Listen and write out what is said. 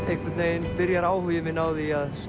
einhvern veginn byrjar áhugi minn á því að